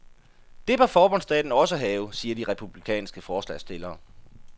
Det bør forbundsstaten også have, siger de republikanske forslagsstillere.